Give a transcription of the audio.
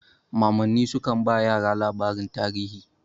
Mamanni sukan ba yara labaran tarihi.